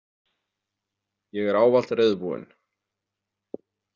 Ég er ávallt reiðubúin.